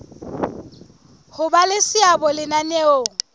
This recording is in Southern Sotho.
ho ba le seabo lenaneong